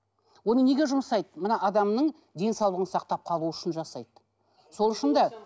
оны неге жұмсайды мына адамның денсаулығын сақтап қалу үшін жасайды сол үшін де